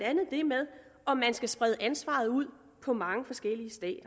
andet det med om man skal sprede ansvaret ud på mange forskellige stater